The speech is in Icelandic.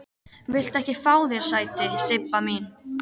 Viltu ekki fá þér sæti, Sibba mín?